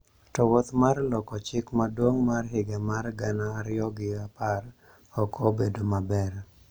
To wuoth mar loko chik maduong� mar higa mar gana ariyo gi apar ok obedo maber,